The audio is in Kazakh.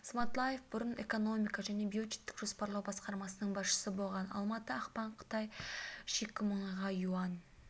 сматлаев бұрын экономика және бюджеттік жоспарлау басқармасының басшысы болған алматы ақпан қытай шикі мұнайға юань